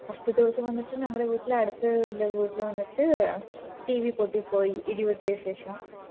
first ദിവസം വന്നിറ്റ് ഞങ്ങടെ വീട്ടില് അടുത്ത് ള്ള വീട്ടില് വന്നിട്ട് tv പൊട്ടി പോയി ഇടി വെട്ടിയ ശേഷം